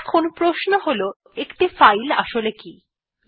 এখন প্রশ্ন হল একটি ফাইল আসলে কি160